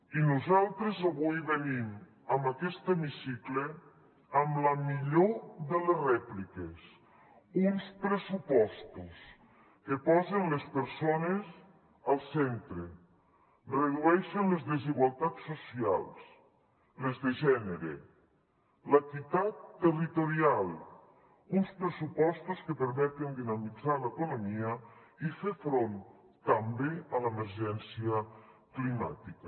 i nosaltres avui venim a aquest hemicicle amb la millor de les rèpliques uns pressupostos que posen les persones al centre redueixen les desigualtats socials les de gènere la inequitat territorial uns pressupostos que permeten dinamitzar l’economia i fer front també a l’emergència climàtica